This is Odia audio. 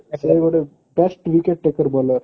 ସେ ଗୋଟେ just be cricket bowler